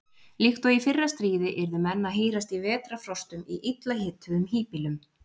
Líkt og í fyrra stríði yrðu menn að hírast í vetrarfrostum í illa hituðum híbýlum.